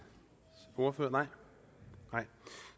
ordfører ordet nej